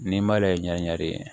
N'i m'ale ye ɲɛ de ye